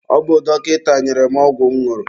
Ọ bụ dọkịta nyere m ọgwụ m ñụrụ.